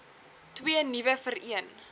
twee nuwe vereen